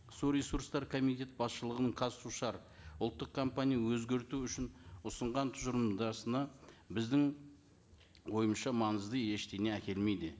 су ресуртсары комитет басшылығының қазсушар ұлттық компания өзгерту үшін ұсынған біздің ойымызша маңызды ештеңе әкелмейді